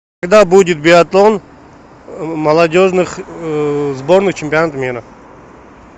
когда будет биатлон молодежных сборных чемпионата мира